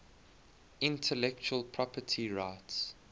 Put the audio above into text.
intellectual property rights